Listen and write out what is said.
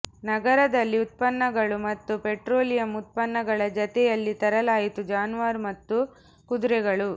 ನಗರದಲ್ಲಿ ಉತ್ಪನ್ನಗಳು ಮತ್ತು ಪೆಟ್ರೋಲಿಯಂ ಉತ್ಪನ್ನಗಳ ಜತೆಯಲ್ಲಿ ತರಲಾಯಿತು ಜಾನುವಾರು ಮತ್ತು ಕುದುರೆಗಳು